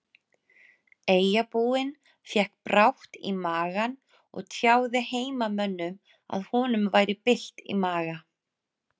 Eyjabúinn fékk brátt í magann og tjáði heimamönnum að honum væri bylt í maga.